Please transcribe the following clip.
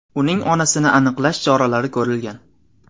Uning onasini aniqlash choralari ko‘rilgan.